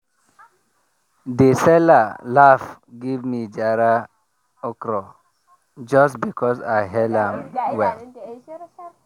di seller laugh give me jara okra just because i hail am well.